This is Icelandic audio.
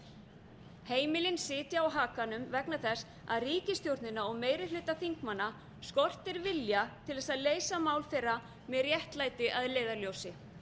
rétt heimilin sitja á hakanum vegna þess að ríkisstjórnin og meiri hluta þingmanna skortir vilja til þess að leysa mál þeirra með réttlæti að leiðarljósi